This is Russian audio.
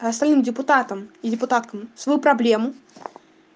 а остальным депутатом и депутаткам свою проблему